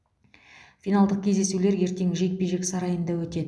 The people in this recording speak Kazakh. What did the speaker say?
финалдық кездесулер ертең жекпе жек сарайында өтеді